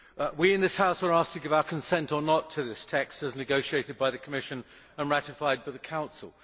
We in this House are asked to give our consent, or not, to this text as negotiated by the Commission and ratified by the Council.